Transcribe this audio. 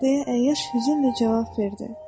deyə əyyaş hüzünlə cavab verdi.